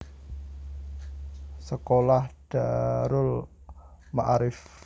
Sekolah Darul Maarif